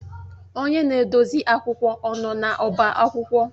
Onye na-edozi akwụkwọ ọ nọ n'ọba akwụkwọ?